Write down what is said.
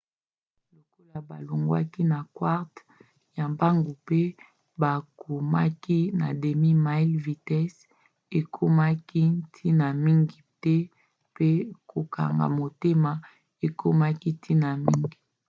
lokola balongwaki na quart ya mbangu mpe bakomaki na demi-mile vitese ekomaki ntina mingi te mpe kokanga motema ekomaki ntina mingi